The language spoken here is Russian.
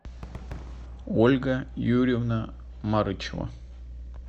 ольга юрьевна марычева